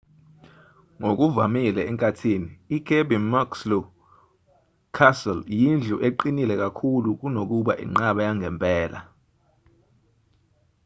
ngokuvamile enkathini ikirby muxloe castle iyindlu eqinile kakhulu kunokuba inqaba yangempela